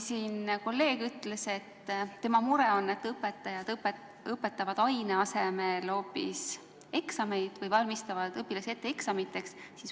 Siin üks kolleeg ütles, et tema mure on, et õpetajad õpetavad aine asemel hoopis eksamite andmist või valmistavad õpilasi ette eksamiteks.